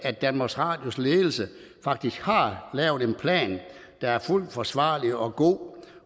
at danmarks radios ledelse faktisk har lavet en plan der er fuldt forsvarlig og god